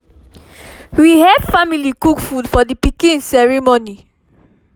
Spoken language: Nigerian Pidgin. we help family cook food for the pikin ceremony